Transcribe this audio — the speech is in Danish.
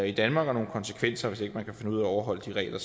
i danmark og nogle konsekvenser hvis ikke man kan finde ud af at overholde de regler